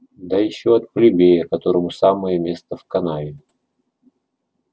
да ещё от плебея которому самое место в канаве